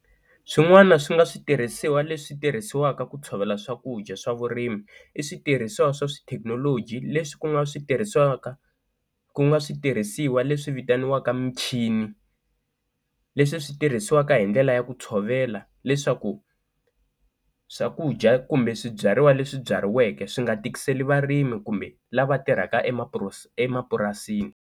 Swin'wana swi nga switirhisiwa leswi tirhisiwaka ku tshovela swakudya swa vurimi i switirhisiwa swa swi thekinoloji leswi ku nga switirhisaka ku nga switirhisiwa leswi vitaniwaka michini, leswi swi tirhisiwaka hi ndlela ya ku tshovela leswaku swakudya kumbe swibyariwa leswi byariweke swi nga tikiseli varimi kumbe lava tirhaka emapurasini.